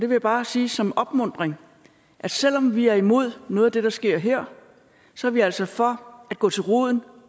vil bare sige som en opmuntring at selv om vi er imod noget af det der sker her så er vi altså for at gå til roden